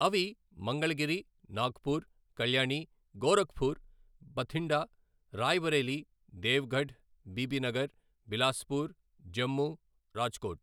అవి మంగళగిరి, నాగ్పూర్, కళ్యాణి, గోరఖ్పూర్, భథిండా, రాయ్‌బరేలీ, దేవ్గఢ్, బీబీనగర్, బిలాస్పూర్, జమ్ము, రాజ్కోట్.